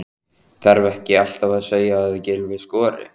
Þarf ekki alltaf að segja að Gylfi skori?